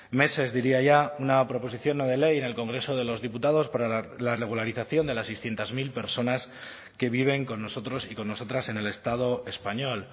meses diría ya una proposición no de ley en el congreso de los diputados para la regularización de las seiscientos mil personas que viven con nosotros y con nosotras en el estado español